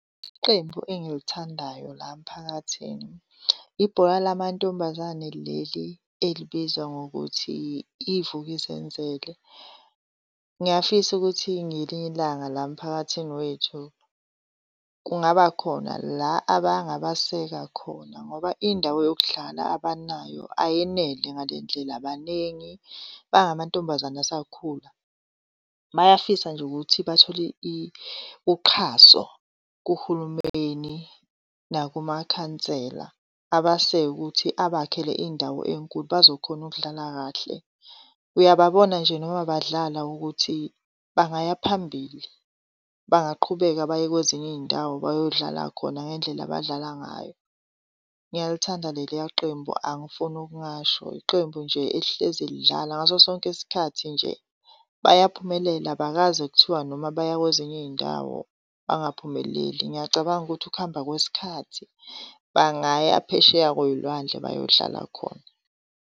Iqembu engilithandayo la mphakathini, ibhola lamantombazane leli elibizwa ngokuthi iVuk'uzenzele. Ngiyafisa ukuthi ngelinye ilanga la mphakathini wethu kungaba khona la abangabaseka khona ngoba indawo yokudlala abanayo ayenele ngale ndlela, baningi bangamantombazane asakhula. Bayafisa nje ukuthi bathole uxhaso kuhulumeni nakumakhansela abaseke ukuthi abakhele indawo enkulu bazokhona ukudlala kahle. Uyababona nje noma badlala ukuthi bangaya phambili bangaqhubeka baye kwezinye iy'ndawo bayodlala khona ngendlela abadlala ngayo. Ngiyalithanda leliya qembu angifuni okungasho, yiqembu nje elihlezi lidlala. Ngaso sonke isikhathi nje bayaphumelela abakaze kuthiwa noma baya kwezinye izindawo bangaphumeleli. Ngiyacabanga ukuthi ukuhamba kwesikhathi bangaya phesheya kwey'lwandle bayodlala khona.